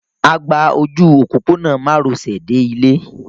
A gba ojú òpópónà márosẹ̀ dé ilé.